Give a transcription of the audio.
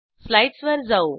स्लाईडसवर जाऊ